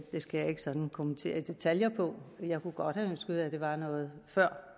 skal jeg ikke sådan kommentere i detaljer jeg kunne godt have ønsket at det var noget før